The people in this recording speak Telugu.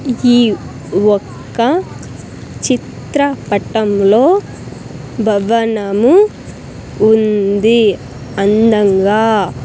ఈ ఒక్క చిత్రపటంలో భవనము ఉంది అందంగా.